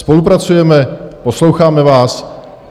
Spolupracujeme, posloucháme vás.